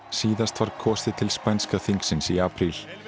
síðast var kosið til spænska þingsins í apríl